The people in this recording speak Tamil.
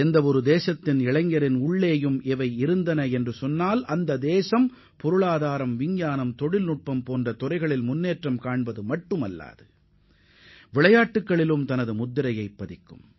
நம் நாட்டு இளைஞர்களிடம் இந்த தகுதிகள் இருந்தால் நம் நாடு பொருளாதாரம் மற்றும் அறிவியல் தொழில்நுட்பத் துறையில் மட்டும் வளர்ச்சி அடைவதோடு இல்லாமல் விளையாட்டுத் துறையிலும் பெருமையை தேடித்தரும்